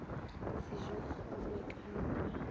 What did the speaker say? sejokgolo e ka no ba